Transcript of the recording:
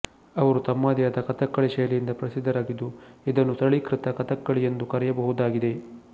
ಅವರು ತಮ್ಮದೇ ಆದ ಕಥಕ್ಕಳಿ ಶೈಲಿಯಿಂದ ಪ್ರಸಿದ್ಧರಾಗಿದ್ದು ಇದನ್ನು ಸರಳೀಕೃತ ಕಥಕ್ಕಳಿ ಎಂದೂ ಕರೆಯಬಹುದಾಗಿದೆ